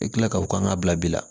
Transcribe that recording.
I kila ka o kan ka bila bi la